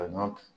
A ɲɔ